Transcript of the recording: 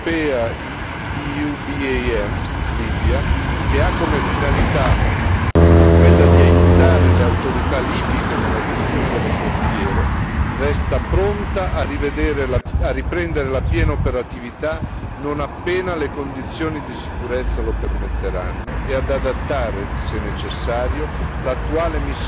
La missione europea EUBAM Libia, che ha come finalità quella di aiutare le autorità libiche nella gestione delle frontiere, resta pronta a riprendere la piena operatività, non appena le condizioni di sicurezza lo permetteranno e ad adattare, se necessario,